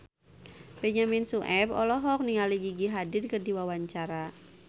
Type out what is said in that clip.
Benyamin Sueb olohok ningali Gigi Hadid keur diwawancara